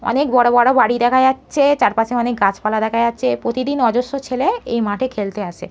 অনেক বড় বড় বাড়ি দেখা যাচ্ছে চারপাশে অনেক গাছপালা দেখা যাচ্ছে প্রতিদিন অজস্র ছেলে এই মাঠে খেলতে আসে ।